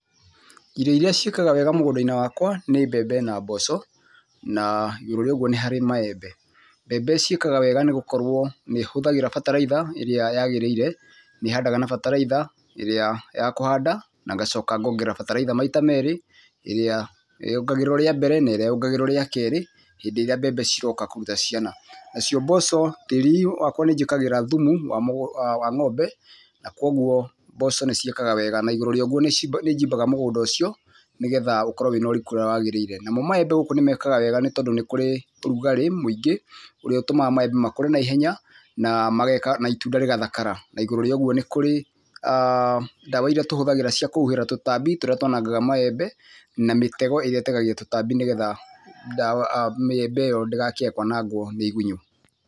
Irio irĩa ciĩkaga wega mũno mũgũndainĩ wakwa nĩ mbembe na mboco, na igũrũ wa ũgũo nĩ harĩ maembe. Mbembe ciĩkaga wega nĩgũkorwo nĩhuthagĩra bataritha ĩrĩa yagĩrĩire, nĩhandaga na bataritha ĩrĩa ya kũhanda na ngacoka ngongerera batariza maita merĩ ĩrĩa ,yongagĩrĩrwa ria mbere na ĩrĩa yongagĩrĩrwa rĩa kerĩ hĩndĩ irĩa mbembe ciroka kũruta ciana. Nacio mboco, tĩri wakwa nĩnjĩkagĩra thumu wa ngo'mbe na kwoguo mboco nĩciĩkega wega na igũrũ wa ũguo nĩjimbaga mũgũnda ũcio nĩgetha ũkorwe wĩna ũriku ũrĩa wagĩrĩire. Namo maembe gũkũ nĩmekaga wega nĩ tondũ nĩkuri ũrugarĩ mwĩingĩ ũrĩa ũtũmaga maembe makũre naihenya na itunda rĩkathakara. Naigũrũ woguo nĩkũrĩ ndawa irĩa tũhũthagĩra cia kũbubĩra tũtambi tũrĩa twanangaga maembe na mĩtego ĩrĩa ĩtegagia tũtambi nigetha mbembe ĩyo ndĩgekĩabwa nĩ ngwa na igunyũ.